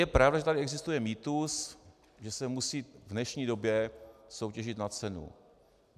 Je pravda, že tady existuje mýtus, že se musí v dnešní době soutěžit na cenu.